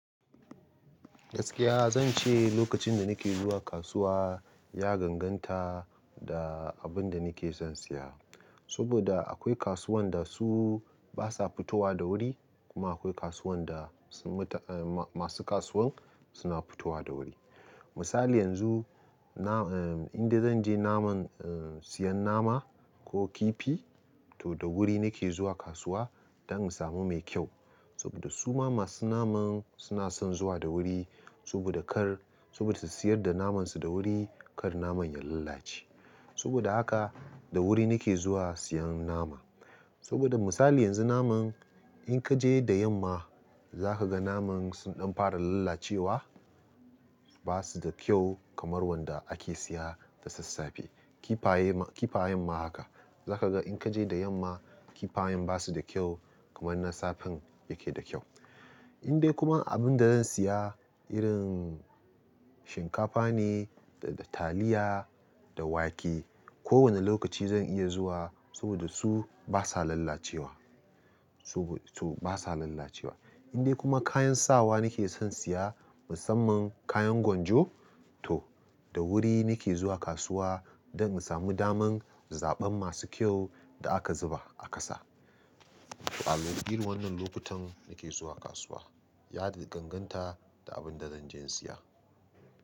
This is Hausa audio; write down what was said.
Gaskiya zan ce lokacin da nake zuwa kasuwa ya ganganta da abin da nake son siya. Saboda akwai kasuwan da su basa fitowa da wuri kuma akwai kasuwan da masu kasuwan suna fitowa da wuri. Misali yanzu, in dai zan je siyan nama ko kifi to da wuri nake zuwa kasuwa don in samu me kyau. Saboda suma masu naman suna son zuwa da wuri saboda kar, saboda su siyar da naman su da wuri kar naman ya lalace. Saboda haka da wuri nake zuwa siyan nama. Saboda misali yanzu naman in ka je da yamma zaka ga naman sun fara kai ɗan fara lallacewa, basu da kyau kamar wanda ake siya da sassafe. Kifaye ma, kifayen ma haka. Zaka ga in kaje da yamma kifayen basu da kyau kamar na safen yake da kyau. Indai kuma abun da zan siya irin shinkafa ne da taliya da wake, ko wani lokaci zan iya zuwa saboda su basa lalacewa, su basa lalacewa. Indai kuma kayan sawa nake son siya musamman kayan gwanjo to da wuri nake zuwa kasuwa don in sami daman zaben masu kyau da aka zuba a ƙasa. To a irin wannan lokutan nake zuwa kasuwa. Ya ganganta da abin da zan je in siya.